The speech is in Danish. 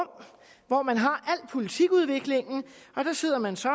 hvor man har al politikudviklingen og der sidder man så